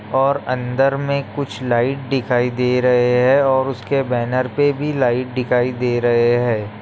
और अंदर में कुछ लाइट दिखाई दे रहे हैं और उसके बैनर पे भी लाइट दिखाई दे रहे हैं।